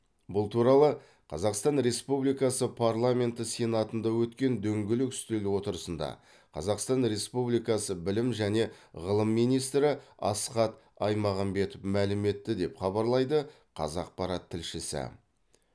бұл туралы қазақстан республикасы парламенті сенатында өткен дөңгелек үстел отырысында қазақстан республикасы білім және ғылым министрі асхат аймағамбетов мәлім етті деп хабарлайды қазақпарат тілшісі